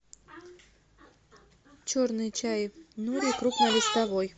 черный чай нури крупнолистовой